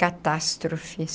Catástrofe.